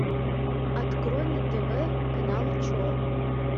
открой на тв канал че